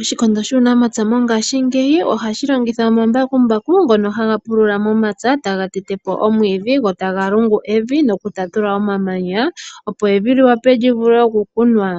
Oshikondo shuunamapya mongashiingeyi ohashi longitha omambakumbaku ngono haga pulula momapya taga tete po omwiidhi go taga lungu evi nokutatula omamanya opo evi li wape li vule okukunwa,